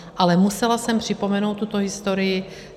Ale musela jsem připomenout tuto historii.